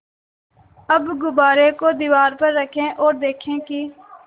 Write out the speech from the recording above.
अब गुब्बारे को दीवार पर रखें ओर देखें कि